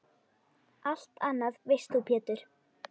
Allt annað veist þú Pétur.